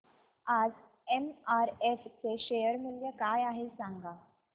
आज एमआरएफ चे शेअर मूल्य काय आहे सांगा